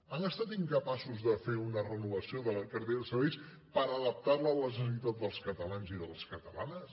han estat incapaços de fer una renovació de la cartera de serveis per adaptar la a la necessitat dels catalans i de les catalanes